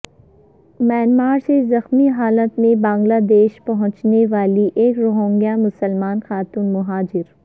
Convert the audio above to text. Myanmar سے زخمی حالت میں بنگلہ دیش پہنچنے والی ایک روہنگیا مسلم خاتون مہاجر